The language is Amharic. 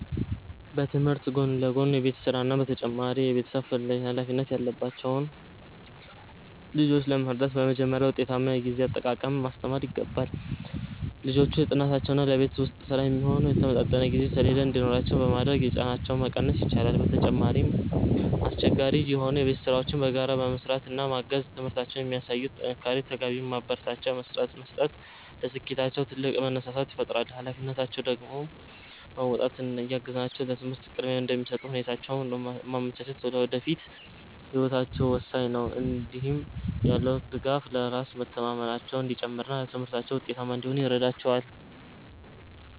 በትምህርት ጎን ለጎን የቤት ሥራና ተጨማሪ የቤተሰብ ኃላፊነት ያለባቸውን ልጆች ለመርዳት በመጀመሪያ ውጤታማ የጊዜ አጠቃቀምን ማስተማር ይገባል። ልጆቹ ለጥናታቸውና ለቤት ውስጥ ሥራ የሚሆን የተመጣጠነ የጊዜ ሰሌዳ እንዲኖራቸው በማድረግ ጫናቸውን መቀነስ ይቻላል። በተጨማሪም፣ አስቸጋሪ የሆኑ የቤት ሥራዎችን በጋራ በመሥራት ማገዝ እና በትምህርታቸው ለሚያሳዩት ጥንካሬ ተገቢውን ማበረታቻ መስጠት ለስኬታቸው ትልቅ መነሳሳት ይፈጥራል። ኃላፊነታቸውን እንዲወጡ እያገዝናቸው ለትምህርት ቅድሚያ እንዲሰጡ ሁኔታዎችን ማመቻቸት ለወደፊት ህይወታቸው ወሳኝ ነው። እንዲህ ያለው ድጋፍ በራስ መተማመናቸው እንዲጨምርና በትምህርታቸው ውጤታማ እንዲሆኑ ይረዳቸዋል።